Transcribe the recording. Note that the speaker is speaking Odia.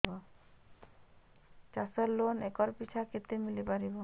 ଚାଷ ଲୋନ୍ ଏକର୍ ପିଛା କେତେ ମିଳି ପାରିବ